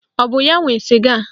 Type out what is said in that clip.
Ọ bụ ya nwe sịga a?